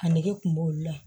A nege kun b'olu la